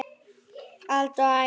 Alda og Ægir.